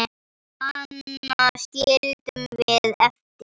Hana skildum við eftir heima.